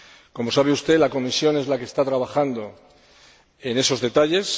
Como sabe usted, la Comisión es la que está trabajando en esos detalles.